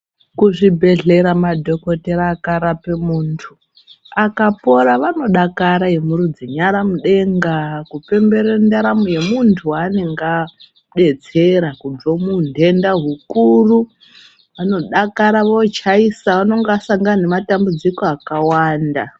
Kuchibhedhlera madhogodheya akarape muntu akapora vanodakara veimurudza nyara mudenga kupemberere ndaramo yemuntu wavanenge adetsera kubva muhunhenda hukuru. Vanodakara vochaisa, vanenge vasangana nematambudziko akawanda.